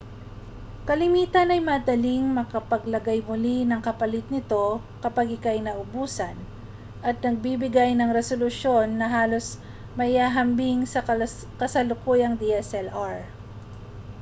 kalimitan ay madaling makapaglagay muli ng kapalit nito kapag ikaw ay naubusan at nagbibigay ng resolusyon na halos maihahambing sa kasalukuyang dslr